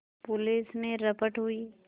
police में रपट हुई